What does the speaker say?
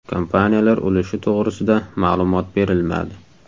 Kompaniyalar ulushi to‘g‘risida ma’lumot berilmadi.